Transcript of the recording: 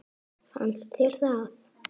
Fannst þér það?